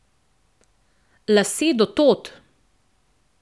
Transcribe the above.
Lase do tod.